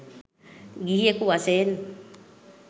ගිහියෙකු වශයෙන්